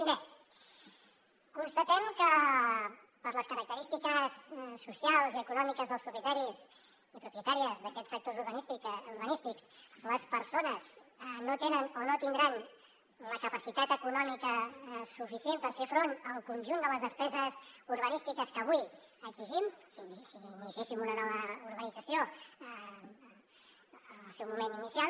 primer constatem que per les característiques socials i econòmiques dels propietaris i propietàries d’aquests sectors urbanístics les persones no tenen o no tindran la capacitat econòmica suficient per fer front al conjunt de les despeses urbanístiques que avui exigim si iniciéssim una nova urbanització en el seu moment inicial